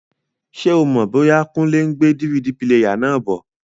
Ṣé o mọ̀ bóyá Kúnlé n gbé DVD píléyà náà bọ̀?